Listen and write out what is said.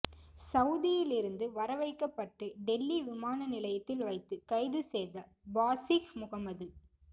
சவுதியிலிருந்து வரவழைக்கப்பட்டு டெல்லி விமான நிலையத்தில் வைத்து கைது செய்த பாசிஹ் முகமது